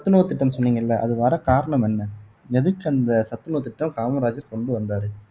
சத்துணவு திட்டம் சொன்னீங்கல்ல அது வர காரணம் என்ன எதுக்கு அந்த சத்துணவு திட்டம் காமராஜர் கொண்டு வந்தாரு